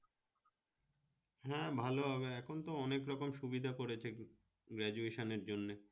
হ্যাঁ ভালো হবে এখন তো অনেক রকম সুবিধা করেছে graduation এর জন্যে